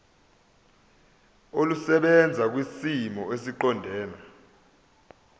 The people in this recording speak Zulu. olusebenza kwisimo esiqondena